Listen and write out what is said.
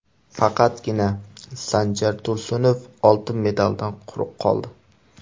Faqatgina Sanjar Tursunov oltin medaldan quruq qoldi.